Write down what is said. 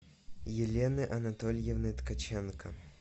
елены анатольевны ткаченко